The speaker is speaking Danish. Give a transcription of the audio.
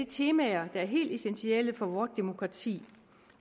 temaer der er helt essentielle for vort demokrati